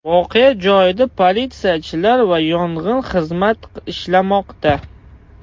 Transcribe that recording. Voqea joyida politsiyachilar va yong‘in xizmat ishlamoqda.